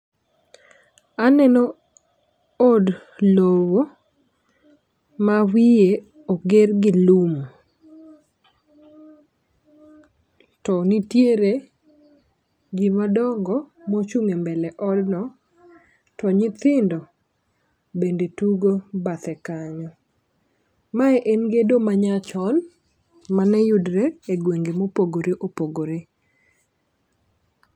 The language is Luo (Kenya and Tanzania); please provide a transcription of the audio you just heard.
Aneno od lowo ma wiye oger gi lum to nitiere jii madongo mochung' e mbele[cs odno to nyithindo bende tugo bathe kanyo. Mae en gedo manya chon mane yudre e gwenge mopogore opogore.